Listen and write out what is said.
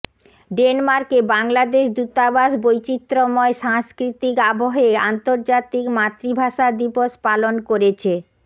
ডেনমার্কে বাংলাদেশ দূতাবাস বৈচিত্রময় সাংস্কৃতিক আবহে আন্তর্জাতিক মাতৃভাষা দিবস পালন করেছে